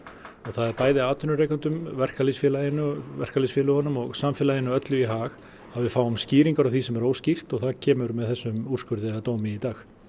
og það er bæði atvinnurekendunum verkalýðsfélögunum verkalýðsfélögunum og samfélaginu öllu í hag að við fáum skýringar á því sem er óskýrt og það kemur með þessum úrskurði eða dómi í dag